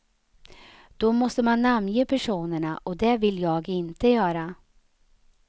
Då måste man namnge personerna och det vill jag inte göra.